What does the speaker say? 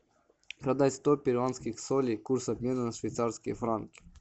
продать сто перуанских солей курс обмена на швейцарские франки